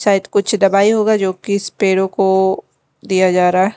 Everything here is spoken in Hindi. शायद कुछ दबाई होगा जो कि इस पेड़ों को दिया जा रहा है।